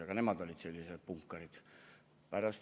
Aga nemad olid sellised punkarid.